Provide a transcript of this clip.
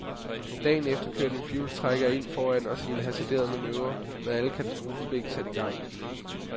Dagen efter kørte en firehjulstrækker ind foran os i en hasarderet manøvre og med alle katastrofeblink sat i gang.